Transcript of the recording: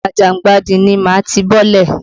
Àjàngbàdì ni màá ti bọ́lẹ̀.